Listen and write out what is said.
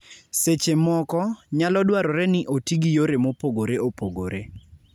Seche moko, nyalo dwarore ni oti gi yore mopogore opogore.